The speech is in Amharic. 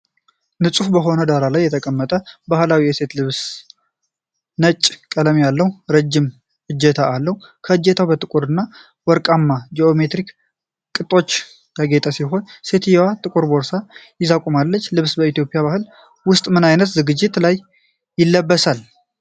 ንጹሕ በሆነ ዳራ ላይ የተቀረጸው ባህላዊ የሴት ልብስ፣ ነጭ ቀለም ያለውና ረጅም እጀታ አለው። እጀታው በጥቁርና ወርቃማ ጂኦሜትሪክ ቅጦች ያጌጠ ሲሆን፣ ሴትየዋ ጥቁር ቦርሳ ይዛ ቆማለች። ልብስ በኢትዮጵያ ባህል ውስጥ ምን ዓይነት ዝግጅቶች ላይ ይለበሳል?